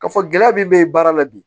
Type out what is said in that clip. Ka fɔ gɛlɛya min bɛ baara la bi